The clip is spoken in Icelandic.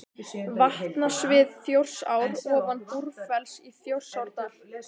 Vatnasvið Þjórsár ofan Búrfells í Þjórsárdal.